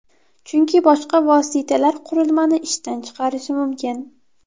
Chunki boshqa vositalar qurilmani ishdan chiqarishi mumkin.